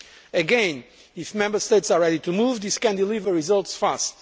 Again, if Member States are ready to move, this can deliver results fast.